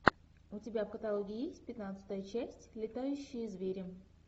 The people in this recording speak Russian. у тебя в каталоге есть пятнадцатая часть летающие звери